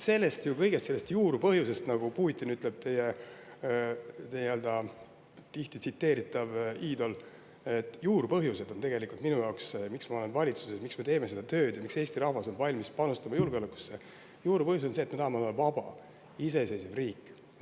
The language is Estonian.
Rääkides juurpõhjusest, nagu ütleb Putin, nii-öelda teie tihti tsiteeritav iidol, pean ütlema, et juurpõhjus, miks ma olen valitsuses, miks me teeme seda tööd ja miks Eesti rahvas on valmis panustama julgeolekusse, on see, et me tahame olla vaba iseseisev riik.